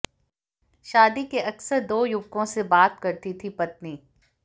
शादी के अक्सर दो युवकों से बात करती थी पत्नी